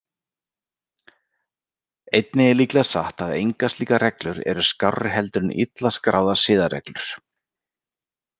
Einnig er líklega satt að engar slíkar reglur eru skárri heldur en illa skráðar siðareglur.